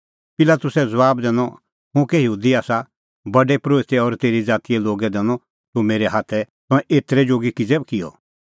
पिलातुसै ज़बाब दैनअ हुंह कै यहूदी आसा प्रधान परोहितै और तेरी ज़ातीए लोगै दैनअ तूह मेरै हाथै तंऐं एतरै जोगी किज़ै किअ